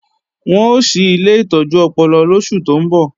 Wọ́n ó ṣí ilé ìtọ́jú ọpọlọ lóṣù tó ńbọ̀